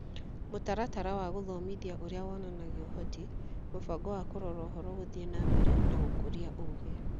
Mũtaratara wa Gũthomithia Ũrĩa Wonanagia Ũhoti ,Mũbango wa Kũrora Ũhoro Gũthiĩ na mbere na Gũkũria Ũũgĩ